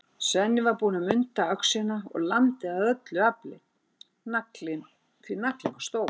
Svenni var búinn að munda öxina og lamdi af öllu afli, því naglinn var stór.